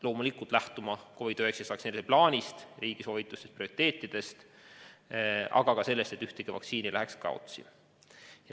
Loomulikult peab ta lähtuma COVID-19 vaktsineerimise plaanist, riigi soovitustest ja prioriteetidest, aga ka sellest, et ükski vaktsiinidoos ei läheks kaotsi.